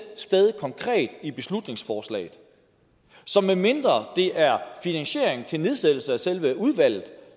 sted konkret i beslutningsforslaget så medmindre det er finansiering til nedsættelse af selve udvalget